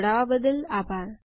જોડાવા બદ્દલ આભાર